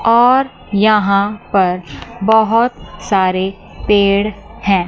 और यहां पर बहुत सारे पेड़ हैं।